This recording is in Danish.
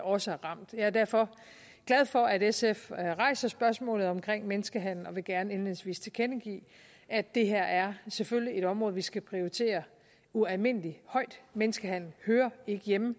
også er ramt jeg er derfor glad for at sf rejser spørgsmålet om menneskehandel og vil gerne indledningsvis tilkendegive at det her selvfølgelig er et område vi skal prioritere ualmindelig højt menneskehandel hører ikke hjemme